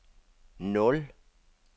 nul